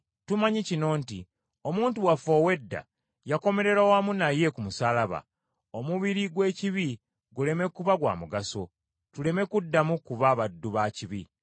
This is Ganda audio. Tumanyi kino nti omuntu waffe ow’edda yakomererwa wamu naye ku musaalaba, omubiri gw’ekibi guleme kuba gwa mugaso, tuleme kuddamu kuba baddu ba kibi.